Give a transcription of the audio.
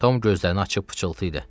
Tom gözlərini açıb pıçıltı idi.